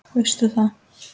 Veist þú það?